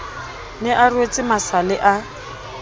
ne a rwetse masale a